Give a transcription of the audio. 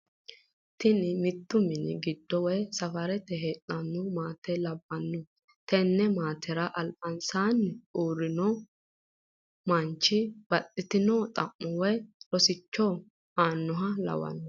Tini mitu mini gido woyi safarete heedhano maate labanno, tene maatera alibansanni uurino manichi baxxitino xamo woyi rosicho aanoha lawano